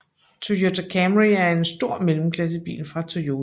Toyota Camry er en stor mellemklassebil fra Toyota